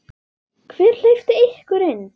Hver hleypti ykkur inn?